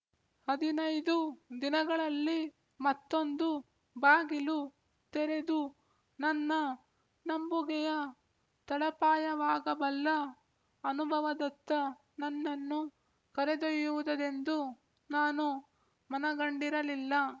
ಹದಿನೈದು ದಿನಗಳಲ್ಲಿ ಮತ್ತೊಂದು ಬಾಗಿಲು ತೆರೆದು ನನ್ನ ನಂಬುಗೆಯ ತಳಪಾಯವಾಗಬಲ್ಲ ಅನುಭವದತ್ತ ನನ್ನನ್ನು ಕರೆದೊಯ್ಯುವುದದೆಂದು ನಾನು ಮನಗಂಡಿರಲಿಲ್ಲ